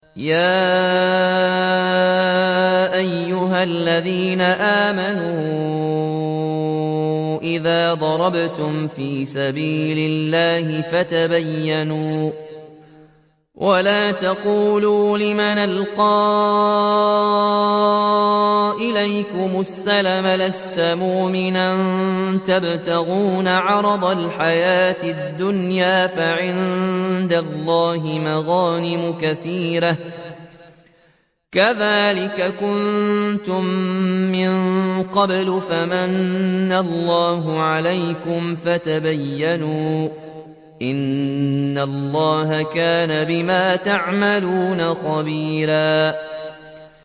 يَا أَيُّهَا الَّذِينَ آمَنُوا إِذَا ضَرَبْتُمْ فِي سَبِيلِ اللَّهِ فَتَبَيَّنُوا وَلَا تَقُولُوا لِمَنْ أَلْقَىٰ إِلَيْكُمُ السَّلَامَ لَسْتَ مُؤْمِنًا تَبْتَغُونَ عَرَضَ الْحَيَاةِ الدُّنْيَا فَعِندَ اللَّهِ مَغَانِمُ كَثِيرَةٌ ۚ كَذَٰلِكَ كُنتُم مِّن قَبْلُ فَمَنَّ اللَّهُ عَلَيْكُمْ فَتَبَيَّنُوا ۚ إِنَّ اللَّهَ كَانَ بِمَا تَعْمَلُونَ خَبِيرًا